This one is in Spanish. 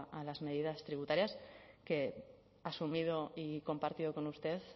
a las medidas tributarias que asumido y compartido con usted